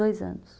Dois anos.